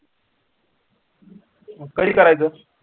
मग कधी करायच?